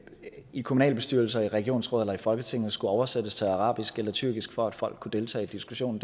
i kommunalbestyrelser i regionsråd eller i folketinget skulle oversættes til arabisk eller tyrkisk for at folk kunne deltage i diskussionen